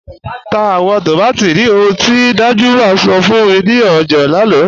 Tá awọn tómátí ní òhùn ti Danjuma sọ̀ fún mi ni ọjà lánà